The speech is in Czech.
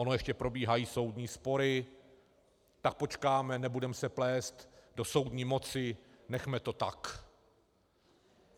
Ono ještě probíhají soudní spory, tak počkáme, nebudeme se plést do soudní moci, nechme to tak.